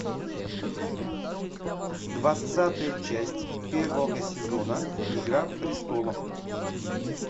двадцатая часть первого сезона игра престолов